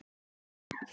Hún er dýr í dag.